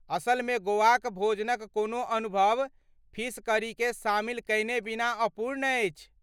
असलमे गोवाक भोजनक कोनो अनुभव फिश करीकेँ शामिल कयने बिना अपूर्ण अछि।